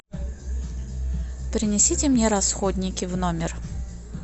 принесите мне расходники в номер